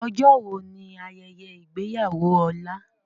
Ọjọ́ wo ni ayẹyẹ ìgbéyàwó Ọlá?